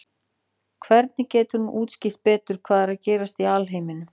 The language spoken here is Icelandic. hvernig getur hún útskýrt betur hvað er að gerast í alheiminum